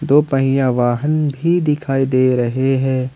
दो पहिया वाहन भी दिखाई दे रहे हैं ।